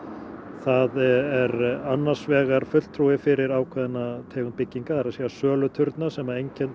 það er annars vegar fulltrúi fyrir ákveðna tegund bygginga það er söluturna sem